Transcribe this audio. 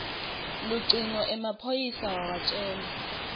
lucingo emaphoyisa wawatjela